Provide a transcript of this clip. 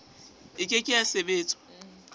e ke ke ya sebetswa